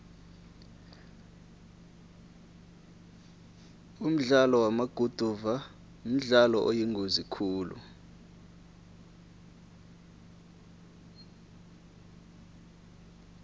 umdlalo wamaguduva mdlalo oyingozi khulu